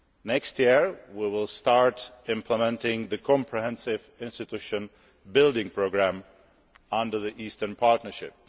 Next year, we will start implementing the Comprehensive Institution Building programme under the Eastern Partnership.